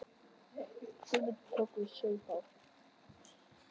Guðmundur tók við og saup á.